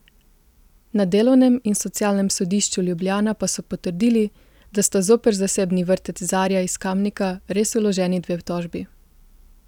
Na delovnem in socialnem sodišču Ljubljana pa so potrdili, da sta zoper zasebni vrtec Zarja iz Kamnika res vloženi dve tožbi.